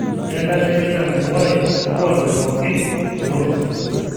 Kenare neitambuai lkuaki pookin tolosho